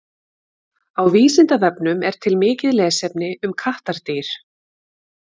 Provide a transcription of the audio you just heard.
Á Vísindavefnum er til mikið lesefni um kattardýr.